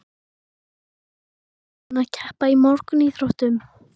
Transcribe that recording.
Jóhannes: Búinn að keppa í mörgum íþróttum?